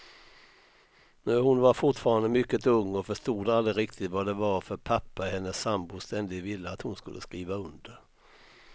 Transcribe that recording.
Hon var fortfarande mycket ung och förstod aldrig riktigt vad det var för papper hennes sambo ständigt ville att hon skulle skriva under.